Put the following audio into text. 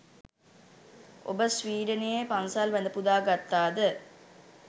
ඔබ ස්වීඩනයේ පන්සල් වැඳ පුදා ගත්තාද?